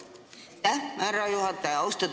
Aitäh, härra juhataja!